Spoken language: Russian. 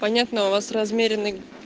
понятно у вас размеренный